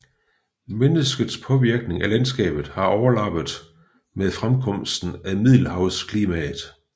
Menneskets påvirkning af landskabet har overlappet med fremkomsten af middelhavsklimaet